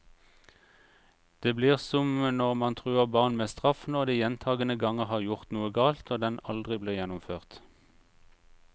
Det blir som når man truer barn med straff når de gjentagende ganger har gjort noe galt, og den aldri blir gjennomført.